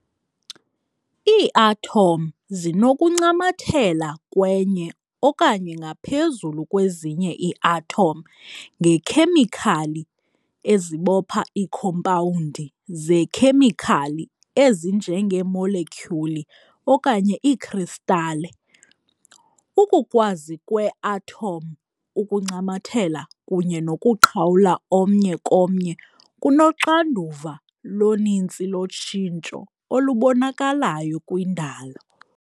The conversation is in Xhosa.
Iiathom zinokuncamathela kwenye okanye ngaphezulu kwezinye iiathom ngeekhemikhali ezibopha iikhompawundi zeekhemikhali ezinjengeemolekyuli okanye iikristale. Ukukwazi kwee-athom ukuncamathela kunye nokuqhawula omnye komnye kunoxanduva loninzi lotshintsho olubonakalayo kwindalo.